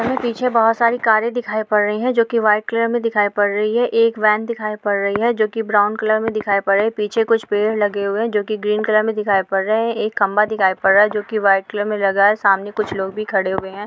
यहाँ पीछे बहुत सारी कारे दिखाई पड़ रही है जो की व्हाइट कलर में दिखाई पड़ रही हैं| एक वेन दिखाई पड़ रही है जो की ब्राउन कलर में दिखाई पड़ रही है| पीछे कुछ पेड़ लगे हुए हैं जो ग्रीन कलर में दिखाई पड़ रहे हैं| एक खंबा दिखाई दे रहा है जो की व्हाइट कलर में लगा है| सामने कुछ लोग भी खड़े हुए हैं।